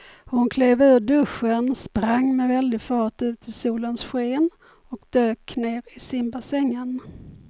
Hon klev ur duschen, sprang med väldig fart ut i solens sken och dök ner i simbassängen.